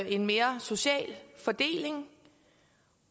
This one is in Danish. en mere social fordeling